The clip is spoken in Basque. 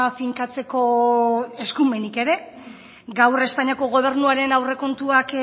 finkatzeko eskumenik ere gaur espainiako gobernuaren aurrekontuak